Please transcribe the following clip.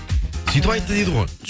сөйтіп айтты дейді ғой